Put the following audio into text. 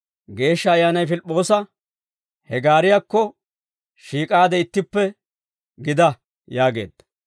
Geeshsha Ayyaanay Pilip'p'oosa, «He gaariyaakko shiik'aade ittippe gida» yaageedda.